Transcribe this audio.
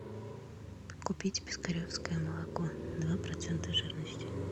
купить пискаревское молоко два процента жирности